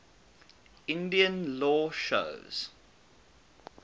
indian law shows